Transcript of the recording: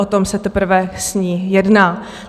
O tom se teprve s ní jedná.